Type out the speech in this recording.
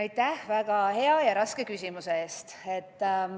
Aitäh väga hea ja raske küsimuse eest!